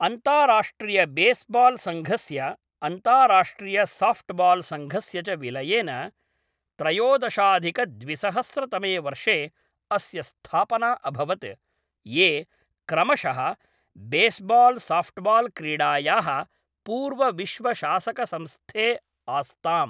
अन्ताराष्ट्रियबेस्बाल्सङ्घस्य अन्ताराष्ट्रियसाफ़्ट्बाल्सङ्घस्य च विलयेन त्रयोदशाधिकद्विसहस्रतमे वर्षे अस्य स्थापना अभवत्, ये क्रमशः बेस्बाल्साफ़्ट्बाल्क्रीडायाः पूर्वविश्वशासकसंस्थे आस्ताम्।